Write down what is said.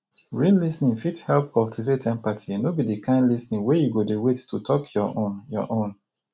real lis ten ing fit help cultivate empathy no be di kind lis ten ing wey you go dey wait to talk your own your own